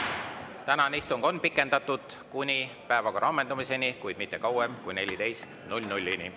Tänane istung on pikendatud kuni päevakorra ammendumiseni, kuid mitte kauem kui 14.00-ni.